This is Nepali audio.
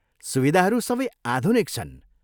सुविधाहरू सबै आधुनिक छन्।